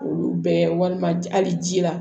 Olu bɛɛ walima hali ji la